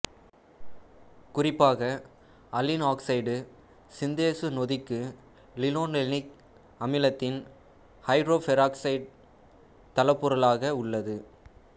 குறிப்பாக allene oxide synthase நொதிக்கு linolenic அமிலத்தின் ஐதரோபெராக்சைடு தளப்பொருளாக உள்ளது